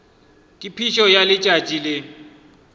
ka phišo ya letšatši le